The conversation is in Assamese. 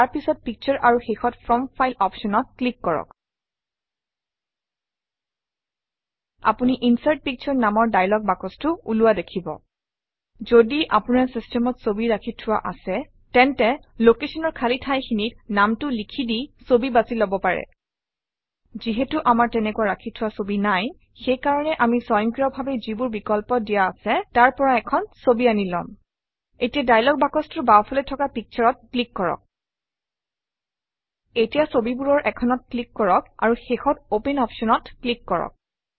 তাৰ পিছত পিকচাৰ আৰু শেষত ফ্ৰম ফাইল অপশ্যনত ক্লিক কৰক আপুনি ইনচাৰ্ট পিকচাৰ নামৰ দায়লগ বাকচটো ওলোৱা দেখিব যদি আপোনাৰ চিষ্টেমত ছবি ৰাখি থোৱা আছে তেন্তে Location অৰ খালী ঠাইখিনিত নামটো লিখি দি ছবি বাছি লব পাৰে যিহেতু আমাৰ তেনেকুৱা ৰাখি থোৱা ছবি নাই সেই কাৰণে আমি স্বয়ংক্ৰিয়ভাৱে যিবোৰ বিকল্প দিয়া আছে তাৰ পৰা এখন ছবি আনি লম এতিয়া দায়লগ বাকচটোৰ বাওঁফালে থকা Picture-অত ক্লিক কৰক এতিয়া ছবিবোৰৰ এখনত ক্লিক কৰক আৰু শেষত অপেন অপশ্যনত ক্লিক কৰক